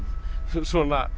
svona